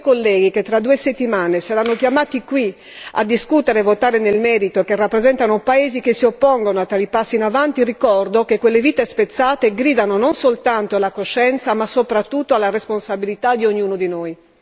A quei colleghi che tra due settimane saranno chiamati qui a discutere e votare nel merito che rappresentano paesi che si oppongono a tali passi in avanti ricordo che quelle vite spezzate, gridano non soltanto la coscienza ma soprattutto alla responsabilità di ognuno di noi!